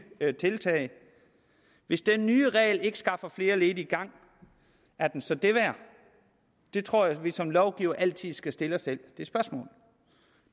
tiltag hvis den nye regel ikke skaffer flere ledige i gang er den så det værd jeg tror at vi som lovgivere altid skal stille os selv det spørgsmål